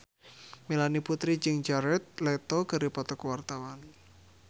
Melanie Putri jeung Jared Leto keur dipoto ku wartawan